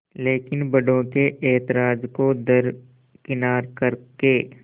लेकिन बड़ों के ऐतराज़ को दरकिनार कर के